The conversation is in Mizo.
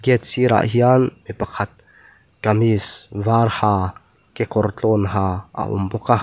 gate sirah hian mi pakhat kamis var ha kekawr tlawn ha a awm bawk a.